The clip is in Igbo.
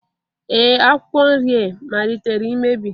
Ee Akwụkwọ nri e malitere imebi